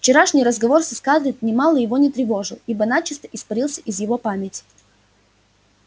вчерашний разговор со скарлетт нимало его не тревожил ибо начисто испарился из его памяти